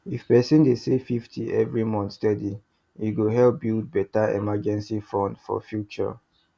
if person dey save 50 every month steady e go help build better emergency money for future